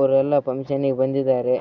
ಅವ್ರೆಲ್ಲಾ ಫಂಕ್ಷನ್‌ಗೆ ಬಂದಿದ್ದಾರೆ.